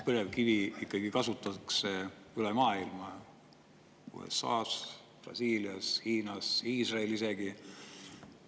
Põlevkivi ikkagi kasutatakse üle maailma: USA-s, Brasiilias, Hiinas, Iisraelis isegi.